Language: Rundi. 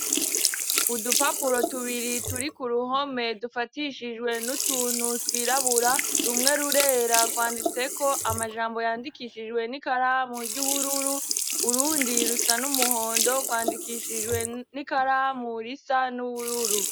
Udupapuro tubiri turi ku ruhome dufatishijwe n'utuntu twirabura rumwe rurera rwanditse ko amajambo yandikishijwe n'ikaramu ry'ubururu urundi rusa n'umuhondo rwandikishijwe n'ikara mu risa n'ubururu.